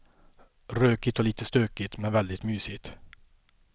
Rökigt och lite stökigt, men väldigt mysigt.